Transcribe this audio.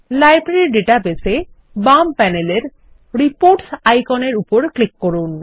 library database এ বাম প্যানেলের Reportsআইকনের উপর ক্লিক করুন